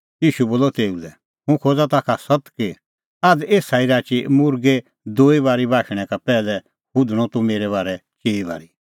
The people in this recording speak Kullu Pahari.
ईशू बोलअ तेऊ लै हुंह खोज़ा ताखा सत्त कि आझ़ एसा ई राची मुर्गै दूई बारी बाशणैं का पैहलै हुधणअ तूह मेरै बारै चिई बारी